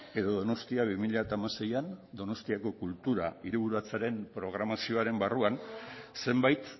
edo donostia bi mila hamaseian donostiako kultura hiriburutzaren programazioaren barruan zenbait